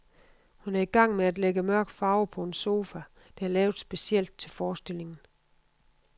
Hun er i gang med at lægge mørk farve på en sofa, der er lavet specielt til forestillingen.